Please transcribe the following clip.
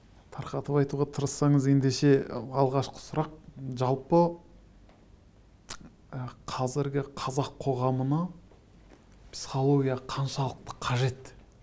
тарқатып айтуға тырыссаңыз ендеше алғашқы сұрақ жалпы ы қазіргі қазақ қоғамына психология қаншалықты қажет